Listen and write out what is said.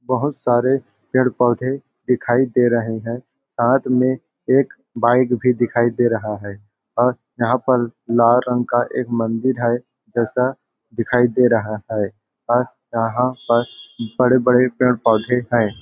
बहुत सारे पेड़ -पौधे दिखाई दे रहे है साथ में एक बाइक भी दिखाई दे रहा है और यहाँ पर लार रंग का एक मंदिर है जैसा दिखाई दे रहा है और यहाँ पर बड़े-बड़े पेड़ -पौधे हैं।